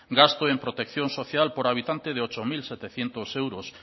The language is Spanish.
gasto en protección social por habitante de ocho mil setecientos euros